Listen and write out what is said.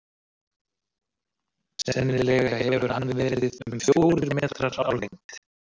sennilega hefur hann verið um fjórir metrar á lengd